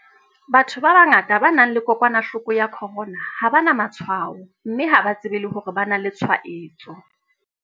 Batho ba bangata ba nang le kokwanahloko ya corona ha ba na matshwao mme ha ba tsebe le hore ba na le tshwaetso.